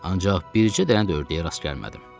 Ancaq bircə dənə də ördəyə rast gəlmədim.